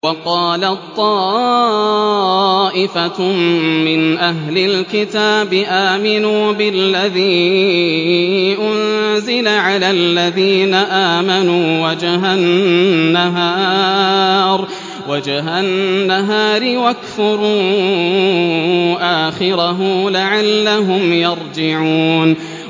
وَقَالَت طَّائِفَةٌ مِّنْ أَهْلِ الْكِتَابِ آمِنُوا بِالَّذِي أُنزِلَ عَلَى الَّذِينَ آمَنُوا وَجْهَ النَّهَارِ وَاكْفُرُوا آخِرَهُ لَعَلَّهُمْ يَرْجِعُونَ